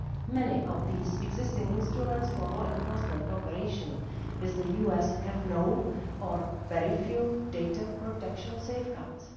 Many of these existing instruments for law enforcement cooperation with the US have no or very few data protection safeguards.